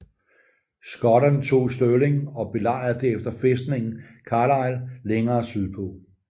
Skotterne tog Stirling og belejrede derefter fæstningen Carlisle længere sydpå